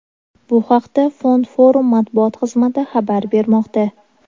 Bu haqda Fond Forum matbuot xizmati xabar bermoqda.